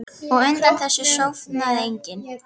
Og undir þessu sofnar enginn.